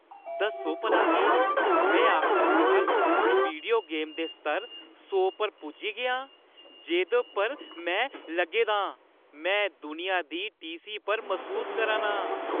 दस्सो भला केह्? मैं आखरकार उस वीडियो गेम दे स्तर सौ पर पुज्जी गेआ आं जेह्दे पर मैं लग्गे दा आं! मैं दुनिया दी टीह्‌सी पर मसूस करा ना आं।